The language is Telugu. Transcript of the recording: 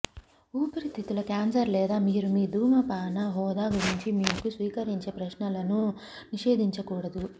ఊపిరితిత్తుల క్యాన్సర్ లేదా మీరు మీ ధూమపాన హోదా గురించి మీరు స్వీకరించే ప్రశ్నలను నిషేధించకూడదు